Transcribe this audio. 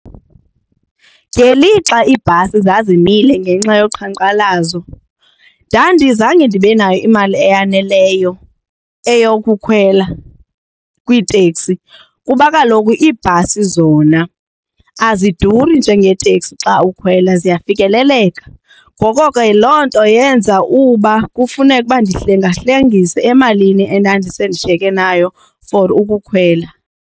Ngelixa iibhasi zazimisele ngenxa yoqhankqalazo ndandizange ndibe nayo imali eyaneleyo eyokukhwela kwiitekisi kuba kaloku iibhasi zona aziduri njengeeteksi xa ukhwela, ziyafikeleleka. Ngoko ke loo nto yenza uba kufuneka ukuba ndihlengahlengise emalini endandisendishiyeke nayo for ukukhwela.